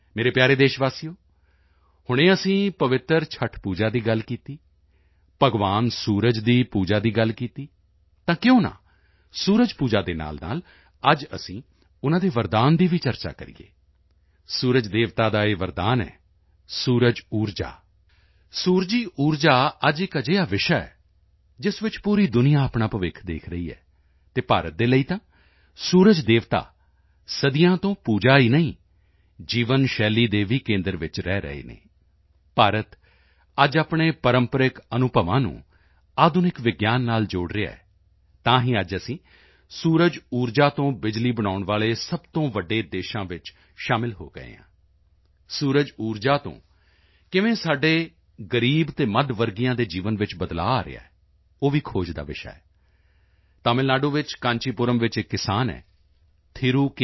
ਮੇਰੇ ਪਿਆਰੇ ਦੇਸ਼ਵਾਸੀਓ ਹੁਣੇ ਅਸੀਂ ਪਵਿੱਤਰ ਛੱਠ ਪੂਜਾ ਦੀ ਗੱਲ ਕੀਤੀ ਭਗਵਾਨ ਸੂਰਜ ਦੀ ਪੂਜਾ ਦੀ ਗੱਲ ਕੀਤੀ ਤਾਂ ਕਿਉਂ ਨਾ ਸੂਰਜ ਪੂਜਾ ਦੇ ਨਾਲਨਾਲ ਅੱਜ ਅਸੀਂ ਉਨ੍ਹਾਂ ਦੇ ਵਰਦਾਨ ਦੀ ਵੀ ਚਰਚਾ ਕਰੀਏ ਸੂਰਜ ਦੇਵਤਾ ਦਾ ਇਹ ਵਰਦਾਨ ਹੈ ਸੌਰ ਊਰਜਾ ਅੱਜ ਇੱਕ ਅਜਿਹਾ ਵਿਸ਼ਾ ਹੈ ਜਿਸ ਵਿੱਚ ਪੂਰੀ ਦੁਨੀਆ ਆਪਣਾ ਭਵਿੱਖ ਦੇਖ ਰਹੀ ਹੈ ਅਤੇ ਭਾਰਤ ਦੇ ਲਈ ਤਾਂ ਸੂਰਜ ਦੇਵਤਾ ਸਦੀਆਂ ਤੋਂ ਪੂਜਾ ਹੀ ਨਹੀਂ ਜੀਵਨ ਸ਼ੈਲੀ ਦੇ ਵੀ ਕੇਂਦਰ ਵਿੱਚ ਰਹਿ ਰਹੇ ਹਨ ਭਾਰਤ ਅੱਜ ਆਪਣੇ ਪ੍ਰੰਪਰਿਕ ਅਨੁਭਵਾਂ ਨੂੰ ਆਧੁਨਿਕ ਵਿਗਿਆਨ ਨਾਲ ਜੋੜ ਰਿਹਾ ਹੈ ਤਾਂ ਹੀ ਅੱਜ ਅਸੀਂ ਸੂਰਜ ਊਰਜਾ ਤੋਂ ਬਿਜਲੀ ਬਣਾਉਣ ਵਾਲੇ ਸਭ ਤੋਂ ਵੱਡੇ ਦੇਸ਼ਾਂ ਵਿੱਚ ਸ਼ਾਮਲ ਹੋ ਗਏ ਹਾਂ ਸੂਰਜ ਊਰਜਾ ਤੋਂ ਕਿਵੇਂ ਸਾਡੇ ਦੇ ਗ਼ਰੀਬ ਅਤੇ ਮੱਧ ਵਰਗੀਆਂ ਦੇ ਜੀਵਨ ਵਿੱਚ ਬਦਲਾਅ ਆ ਰਿਹਾ ਹੈ ਉਹ ਵੀ ਖੋਜ ਦਾ ਵਿਸ਼ਾ ਹੈ ਤਮਿਲ ਨਾਡੂ ਵਿੱਚ ਕਾਂਚੀਪੁਰਮ ਚ ਇੱਕ ਕਿਸਾਨ ਹੈ ਥਿਰੁ ਕੇ